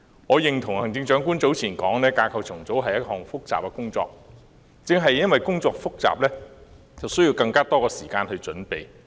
我認同行政長官早前所說，架構重組是一項複雜工作，但正因工作複雜，便需要更多時間準備。